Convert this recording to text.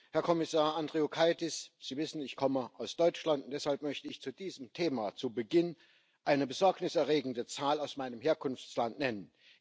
Herr Kommissar Andriukaitis, Sie wissen, ich komme aus Deutschland, und deshalb möchte ich zu diesem Thema zu Beginn eine besorgniserregende Zahl aus meinem Herkunftsland nennen.